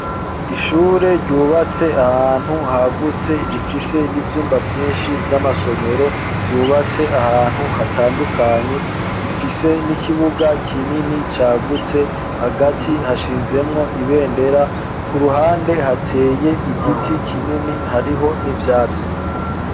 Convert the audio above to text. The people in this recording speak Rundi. Ishure ryubatse ahantu hagutse rifise n'ivyumba vyinshi vy'amasomero, vyubatse ahantu hatandukanye, rifise n'ikibuga kinini cagutse hagati hashinzemwo ibendera ku ruhande hateye igiti kinini hariho n'ivyati.